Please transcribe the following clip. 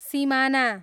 सिमाना